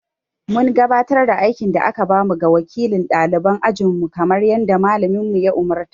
Mun gabatar da aikin da aka ba mu ga wakilin ɗaliban ajinmu kamar yadda Mallamin ya umurta.